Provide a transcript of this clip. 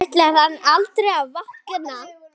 Ætlar hann aldrei að vakna?